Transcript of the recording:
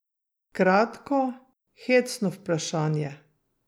Kratko, hecno vprašanje.